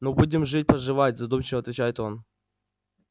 ну будем жить поживать задумчиво отвечает он